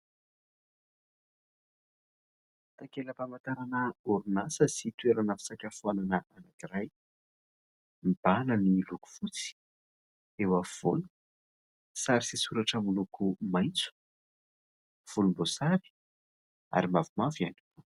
Takela-pamantarana orinasa sy toerana fisakafoanana anankiray : mibahana ny loko fotsy, eo afovoany sary sy soratra miloko maitso, volomboasary ary mavomavo ihany.